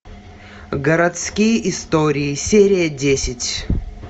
городские истории серия десять